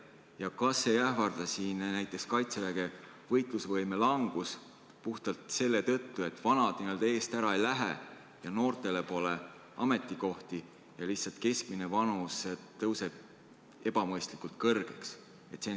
Ja kas ei ähvarda siin näiteks Kaitseväge võitlusvõime langus puhtalt selle tõttu, et vanad eest ära ei lähe ja noortele pole ametikohti ja lihtsalt keskmine vanus tõuseb ebamõistlikult kõrgeks?